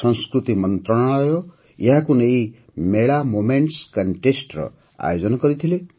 ସଂସ୍କୃତି ମନ୍ତ୍ରଣାଳୟ ଏହାକୁ ନେଇ ମେଳା ମୋମେଣ୍ଟ୍ସ କଣ୍ଟେଷ୍ଟ୍ର ଆୟୋଜନ କରିଥିଲେ